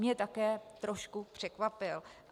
Mě také trošku překvapil.